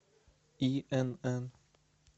инн